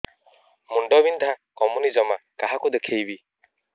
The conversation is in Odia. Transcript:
ମୁଣ୍ଡ ବିନ୍ଧା କମୁନି ଜମା କାହାକୁ ଦେଖେଇବି